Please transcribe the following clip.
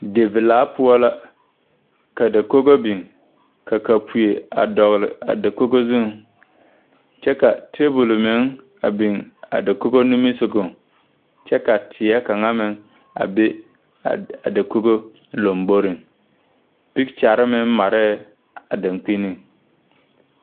Divilaa poɔ la ka dakogo biŋ ka kapuee a dɔgle a dakogo zuŋ kyɛ ka tabol meŋ a biŋ a dakogo nimisugɔŋ kyɛ ka teɛ kaŋa meŋ a ve a dakogo lomboriŋ peekyɛrre meŋ marɛɛ a daŋkpiniŋ.